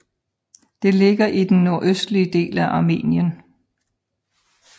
Det ligger i den nordøstlige del af Armenien